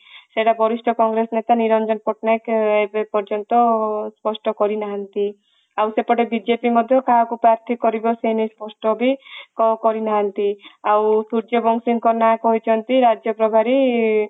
ସେଟା ଗରିଷ୍ଠ କଂଗ୍ରେସ ନେତା ନିରଞ୍ଜନ ପଟ୍ ନାୟକ ଏବେ ପର୍ଯ୍ୟନ୍ତ ସ୍ପଷ୍ଠ କରି ନାହାନ୍ତି ଆଉ ସେପଟେ ବିଜେପି ମଧ୍ୟ କାହାକୁ ପାର୍ଥୀ କରିବ ସେ ନେଇ ସ୍ପଷ୍ଠ ବି କରି ନାହାନ୍ତି ଆଉ ସୂର୍ଯ୍ୟ ବଂଶୀଙ୍କ ନାଁ କହିଛନ୍ତି ରାଜ୍ୟ ସଭାରେ